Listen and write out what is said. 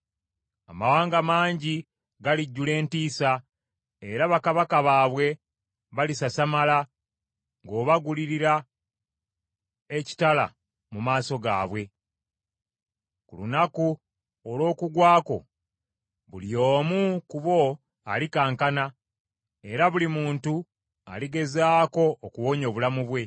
Amawanga mangi galijjula entiisa era bakabaka baabwe balisasamala, ng’obagalulira ekitala mu maaso gaabwe. Ku lunaku olw’okugwa kwo, buli omu ku bo alikankana, era buli muntu aligezaako okuwonya obulamu bwe.